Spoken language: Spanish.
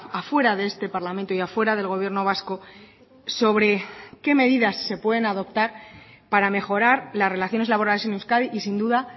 afuera de este parlamento y afuera del gobierno vasco sobre qué medidas se pueden adoptar para mejorar las relaciones laborales en euskadi y sin duda